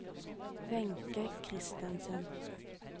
Wenche Kristensen